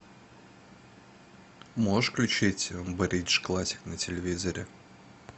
можешь включить бридж классик на телевизоре